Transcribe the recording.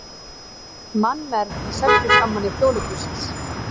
Mannmergð í sextugsafmæli Þjóðleikhússins